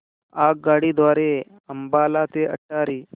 आगगाडी द्वारे अंबाला ते अटारी